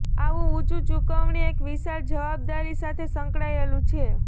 આવું ઊંચું ચુકવણી એક વિશાળ જવાબદારી સાથે સંકળાયેલું છે